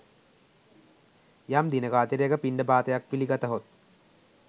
යම් දිනක අතිරේක පිණ්ඩපාතයක් පිළිගතහොත්